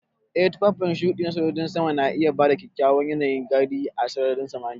Ee tufafin shuɗi na sojojin sama na iya ba kyakkyawan yanayin gani a sararin samaniya.